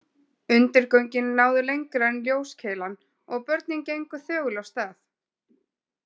Undirgöngin náðu lengra en ljóskeilan og börnin gengu þögul af stað.